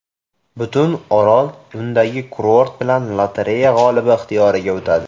Butun orol undagi kurort bilan lotereya g‘olibi ixtiyoriga o‘tadi.